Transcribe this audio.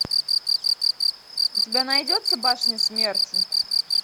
у тебя найдется башня смерти